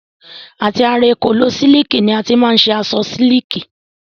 Àti ara èkòló sílìkì ni a ti má n ṣe aṣọ sílìkì.